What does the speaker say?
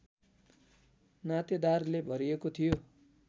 नातेदारले भरिएको थियो